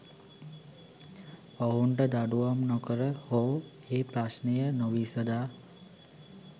ඔවුන්ට දඩුවම් නොකර හෝ ඒ ප්‍රශ්නය නොවිසදා